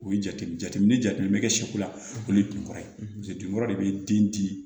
O ye jateminɛ bɛ kɛ siko lakoye tun kɔrɔ ye jate yɔrɔ de bɛ den di